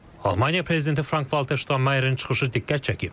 Almaniya prezidenti Frank-Valter Ştaynmayerin çıxışı diqqət çəkib.